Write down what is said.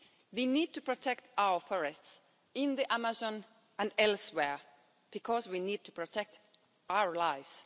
We need to protect our forests in the Amazon and elsewhere because we need to protect our lives.